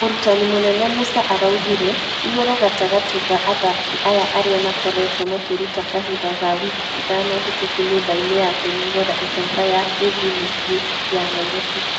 Mũrutani mũnene musa araugire ...igũrũ gatagatĩ ga athaki aya arĩa makorwtwo makĩruta kahinda ga wiki ithano hĩtũku nyũmba-inĩ ya kwĩnogorq icoka ya av mũciĩ wa nyairobi